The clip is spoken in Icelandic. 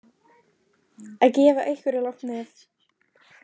Að gefa einhverju langt nef